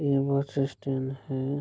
ये bus stand है।